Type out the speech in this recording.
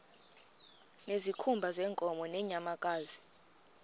ngezikhumba zeenkomo nezeenyamakazi